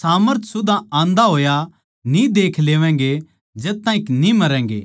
सामर्थ सुदा आन्दा होया न्ही देख लेवैंगे जद तक न्ही मरोगे